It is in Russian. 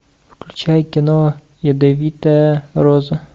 включай кино ядовитая роза